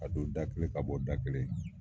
Ka don da kelen ka bɔ da kelen.